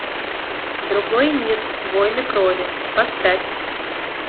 другой мир войны крови поставь